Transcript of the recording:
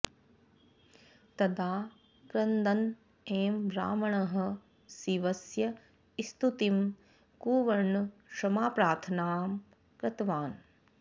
तदा क्रन्दन् एव रावणः शिवस्य स्तुतिं कुर्वन् क्षमाप्रार्थनां कृतवान्